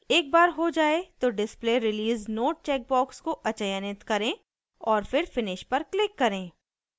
एक बार हो जाये तो display release note checkbox को अचयनित करें और फिर finish पर क्लिक करें